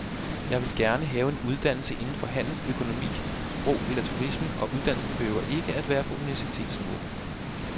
Jeg vil gerne have en uddannelse inden for handel, økonomi, sprog eller turisme, og uddannelsen behøver ikke være på universitetsniveau.